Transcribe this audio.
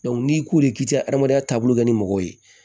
n'i k'u k'i ka adamadenya taabolo kɛ ni mɔgɔw ye